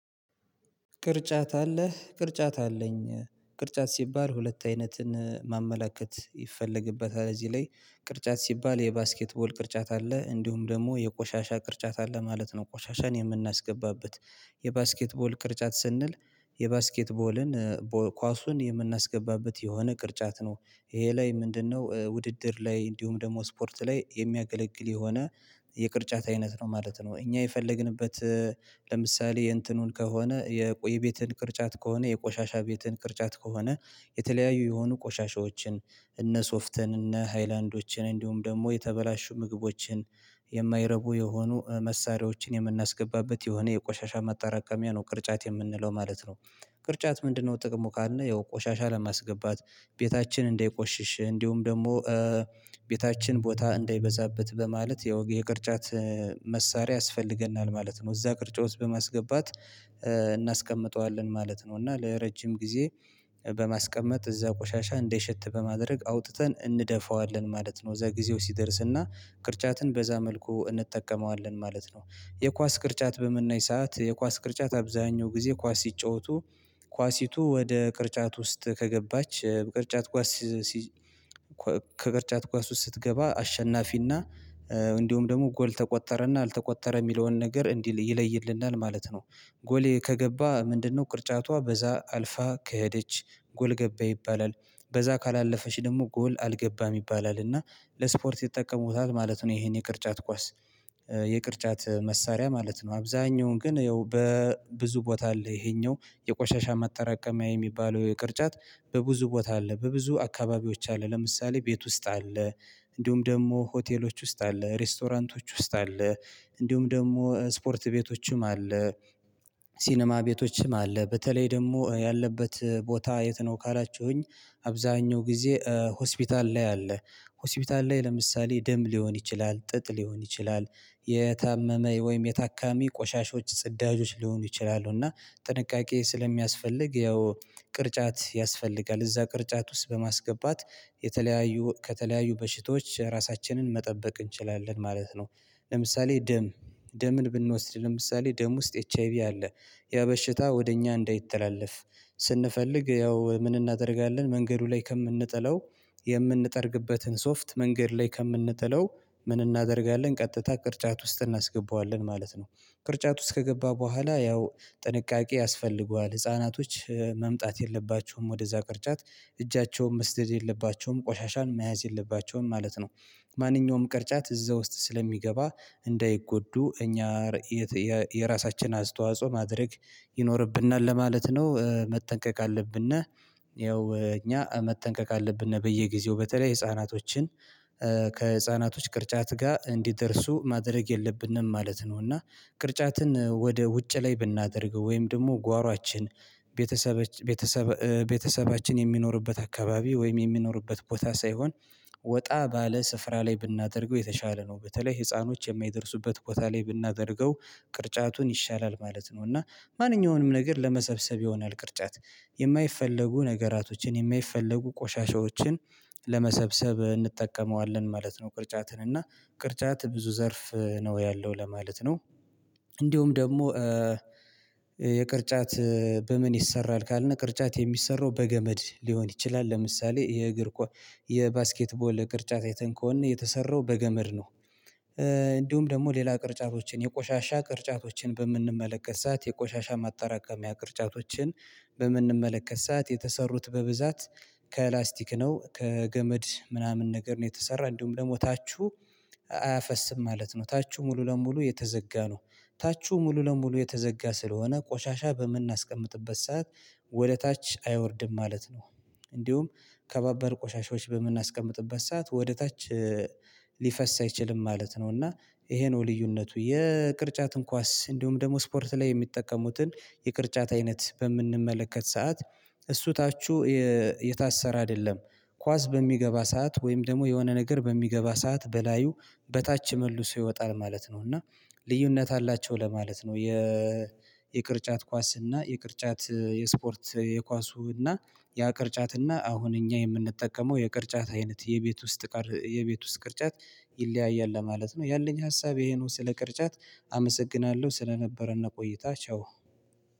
ቅርጫት አለህ ቅርጫት አለኝ። ቅርጫት ሲባል ሁለት አይነትን ማመላከት ይፈልግበታል እዚህ ላይ ቅርጫት ሲባል የባስኬትቦል ቅርጫት አለ እንዲሁም ደግሞ የቆሻሻ ቅርጫት አለ ማለት ነው። ቆሻሻን የምናስገባበት የባስኬትቦል ቅርጫት ስንል የባስኬትቦልን ኳሱን የምናስገባበት የሆነ ቅርጫት ነው። ይሄ ላይ ምንድነው ውድድር ላይ እንዲሁም ደግሞ ስፖርት ላይ የሚያገለግል የሆነ የቅርጫት አይነት ነው ማለት ነው። እኛ የፈለግንበት ለምሳሌ የእንትኑን ከሆነ የቆይ ቤትን ቅርጫት ከሆነ የቆሻሻ ቤትን ቅርጫት ከሆነ የተለያዩ የሆኑ ቆሻሻዎችን እነ ሶፍትን እነ ሃይላንዶችን እንዲሁም ደግሞ የተበላሹ ምግቦችን የማይረቡ የሆኑ መሳሪያዎችን የምናስገባበት የሆነ የቆሻሻ ማጠራቀሚያ ነው ቅርጫት የምንለው ማለት ነው። ቅርጫት ምንድነው? ጥቅሙ ካልን ያው ቆሻሻ ለማስገባት ቤታችን እንዳይቆሽሽ እንዲሁም ደግሞ ቤታችን ቦታ እንዳይበዛበት በማለት የውግ የቅርጫት መሳሪያ ያስፈልገናል ማለት ነው። እዛ ቅርጫት ውስጥ በማስገባት እናስቀምጠዋለን ማለት ነው። እና ለረጅም ጊዜ በማስቀመጥ እዛ ቆሻሻ እንዳይሸት በማድረግ አውጥተን እንደፋዋለን ማለት ነው። እዛ ግዜው ሲደርስና ቅርጫትን በዛ መልኩ እንጠቀመዋለን ማለት ነው። የኳስ ቅርጫት በምናይ ሰዓት የኳስ ቅርጫት አብዛኛው ጊዜ ኳስ ሲጫወቱ ኳሲቱ ወደ ቅርጫት ውስጥ ከገባች ቅርጫት ኳስ ከቅርጫት ኳስ ውስጥ ስትገባ አሸናፊና እንዲሁም ደግሞ ጎል ተቆጠረና አልተቆጠረ የሚለውን ነገር እንዲህ ይለይልናል ማለት ነው። ጎል ከገባ ምንድነው? ቅርጫቷ በዛ አልፋ ከሄደች ጎል ገባ ይባላል። በዛ ካላለፈች ደግሞ ጎል አልገባም ይባላል እና ለስፖርት ይጠቀሙታል ማለት ነው። ይሄን የቅርጫት ኳስ የቅርጫት መሳሪያ ማለት ነው አብዛኛውን ግን ያው በብዙ ቦታ አለ ይሄኛው የቆሻሻ ማጠራቀሚያ የሚባለው ቅርጫት በብዙ ቦታ አለ። በብዙ አካባቢዎች አለ ለምሳሌ ቤት ውስጥ አለ እንዲሁም ደግሞ ሆቴሎች ውስጥ አለ ሬስቶራንቶች ውስጥ አለ እንዲሁም ደግሞ ስፖርት ቤቶችም አለ። ሲኒማ ቤቶችም አለ በተለይ ደግሞ ያለበት ቦታ የት ነው? ካላችሁኝ አብዛኛው ጊዜ ሆስፒታል ላይ አለ። ሆስፒታል ላይ ለምሳሌ ደም ሊሆን ይችላል ጥጥ ሊሆን ይችላል የታመመ ወይም የታካሚ ቆሻሻዎች ጽዳጆች ሊሆኑ ይችላሉ። እና ጥንቃቄ ስለሚያስፈልግ ያው ቅርጫት ያስፈልጋል እዛ ቅርጫት ውስጥ በማስገባት የተለያዩ ከተለያዩ በሽቶች ራሳችንን መጠበቅ እንችላለን ማለት ነው። ለምሳሌ ደም ደምን ብንወስድ ለምሳሌ ደም ውስጥ ኤች አይ ቪ አለ ያ በሽታ ወደ እኛ እንዳይተላለፍ ስንፈልግ ያው ምን እናደርጋለን መንገዱ ላይ ከምንጥለው የምንጠርግበትን ሶፍት መንገድ ላይ ከምንጥለው ምን እናደርጋለን ቀጥታ ቅርጫት ውስጥ እናስገባዋለን ማለት ነው። ቅርጫት ውስጥ ከገባ በኋላ ያው ጥንቃቄ ያስፈልገዋል ህፃናቶች መምጣት የለባቸውም ወደዛ ቅርጫት እጃቸውን መስደድ የለባቸውም ቆሻሻን መያዝ የለባቸውም ማለት ነው። ማንኛውም ቅርጫት እዛ ውስጥ ስለሚገባ እንዳይጎዱ እኛ የራሳችን አስተዋጽኦ ማድረግ ይኖርብናል ለማለት ነው መጠንቀቅ አለብን። ይኸው እኛ መጠንቀቅ አለብን በየጊዜው በተለይ ህፃናቶችን ከህፃናቶች ቅርጫት ጋር እንዲደርሱ ማድረግ የለብንም ማለት ነው። እና ቅርጫትን ወደ ውጭ ላይ ብናደርገው ወይም ደግሞ ጓሮአችን ቤተሰብ ቤተሰብ ቤተሰባችን የሚኖርበት አካባቢ ወይም የሚኖርበት ቦታ ሳይሆን ወጣ ባለ ስፍራ ላይ ብናደርገው የተሻለ ነው በተለይ ህፃኖች የማይደርሱበት ቦታ ላይ ብናደርገው ቅርጫቱን ይሻላል ማለት ነው። እና ማንኛውንም ነገር ለመሰብሰብ ይሆናል ቅርጫት የማይፈለጉ ነገራቶችን የማይፈለጉ ቆሻሻዎችን ለመሰብሰብ እንጠቀመዋለን ማለት ነው። ቅርጫትን እና ቅርጫት ብዙ ዘርፍ ነው ያለው ለማለት ነው። እንዲሁም ደግሞ የቅርጫት በምን ይሰራል ካልነ ቅርጫት የሚሰራው በገመድ ሊሆን ይችላል ለምሳሌ የእግር የባስኬትቦል ቅርጫት አይተን ከሆነ የተሰራው በገመድ ነው። እንዲሁም ደግሞ ሌላ ቅርጫቶችን የቆሻሻ ቅርጫቶችን በምንመለከት ሰዓት የቆሻሻ ማጠራቀሚያ ቅርጫቶችን በምንመለከት ሰዓት የተሰሩት በብዛት ከላስቲክ ነው ከገመድ ምናምን ነገር ነው የተሰራው እንዲሁም ደግሞ ታቹ አያፈስም ማለት ነው ታቹ ሙሉ ለሙሉ የተዘጋ ነው። ታችሁ ሙሉ ለሙሉ የተዘጋ ስለሆነ ቆሻሻ በምናስቀምጥበት ሰዓት ወደ ታች አይወርድም ማለት ነው። እንዲሁም ከባባድ ቆሻሻዎች በምናስቀምጥበት ሰዓት ወደ ታች ሊፈስ አይችልም ማለት ነው። እና ይሄ ነው ልዩነቱ የቅርጫትን ኳስ እንዲሁም ደግሞ ስፖርት ላይ የሚጠቀሙትን የቅርጫት አይነት በምንመለከት ሰዓት እሱ ታቹ የታሰረ አይደለም። ኳስ በሚገባ ሰዓት ወይም ደግሞ የሆነ ነገር በሚገባ ሰዓት በላዩ በታች መልሶ ይወጣል ማለት ነው። እና ልዩነት አላቸው ለማለት ነው። የ የቅርጫት ኳስ እና የቅርጫት የስፖርት የኳሱ እና ያ ቅርጫት እና አሁን እኛ የምንጠቀመው የቅርጫት አይነት የቤት ውስጥ የቤት ውስጥ ቅርጫት ይለያያል ለማለት ነው። ያለኝ ሀሳብ ይሄን ስለ ቅርጫት አመሰግናለሁ። ስለነበረና ቆይታ ቻው።